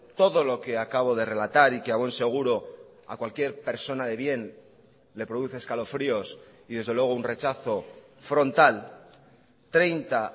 todo lo que acabo de relatar y que a buen seguro a cualquier persona de bien le produce escalofríos y desde luego un rechazo frontal treinta